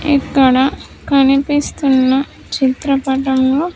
ఇక్కడ కనిపిస్తున్న చిత్రపటంలో.